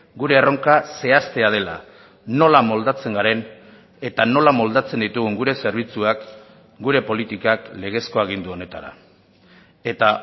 gure erronka zehaztea dela nola moldatzen garen eta nola moldatzen ditugun gure zerbitzuak gure politikak legezko agindu honetara eta